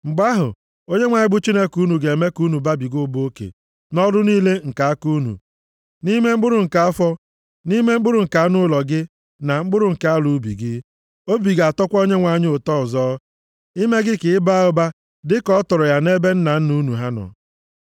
Mgbe ahụ, Onyenwe anyị bụ Chineke unu ga-eme ka unu babiga ụba oke nʼọrụ niile nke aka unu, nʼime mkpụrụ nke afọ, nʼime mkpụrụ nke anụ ụlọ gị, na mkpụrụ nke ala ubi gị. Obi ga-atọkwa Onyenwe anyị ụtọ ọzọ, ime gị ka ị baa ụba dịka ọ tọrọ ya nʼebe nna unu ha nọ.